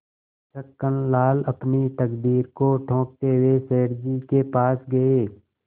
छक्कनलाल अपनी तकदीर को ठोंकते हुए सेठ जी के पास गये